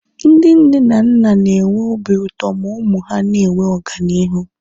Ndị nne na nna na-enwe obi ụtọ ma ụmụ ha na-enwe ọganihu